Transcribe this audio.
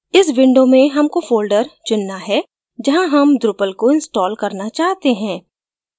इस window में हमको folder चुनना है जहाँ हम drupal को install करना चाहते हैं